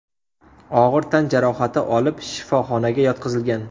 og‘ir tan jarohati olib, shifoxonaga yotqizilgan.